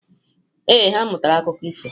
Ee, ha mụtara akụkọ ifo.